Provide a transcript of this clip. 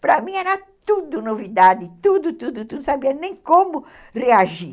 Para mim era tudo novidade, tudo, tudo, tudo, não sabia nem como reagir.